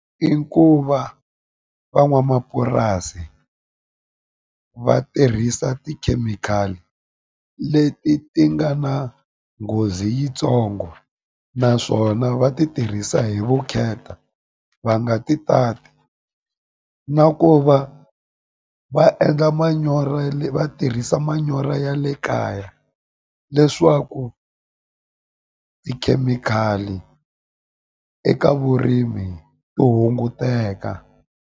I ku va van'wamapurasi va tirhisa tikhemikhali leti ti nga na nghozi yitsongo naswona va ti tirhisa hi vukheta va nga ti tati na ku va va endla manyoro va tirhisa manyoro ya le kaya leswaku tikhemikhali eka vurimi ti hunguteka.